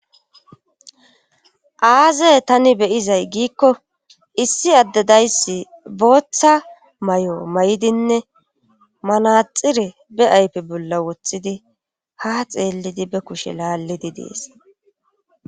aaze tani beyizay giikko issi addedayssi booththa may7o may7dinne manaxire be aype bolla wothidi ha xeellidi be kushe laallidi dees